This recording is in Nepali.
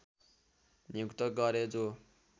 नियुक्त गरे जो